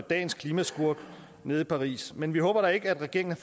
dagens klimaskurk nede i paris men vi håber da ikke at regeringen